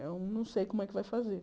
Eu não sei como é que vai fazer.